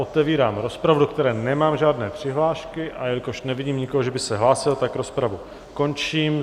Otevírám rozpravu, do které nemám žádné přihlášky, a jelikož nevidím nikoho, že by se hlásil, tak rozpravu končím.